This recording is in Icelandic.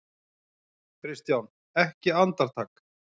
KRISTJÁN: Ekki andartak?